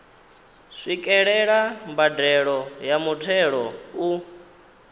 swikelela mbadelo ya muthelo u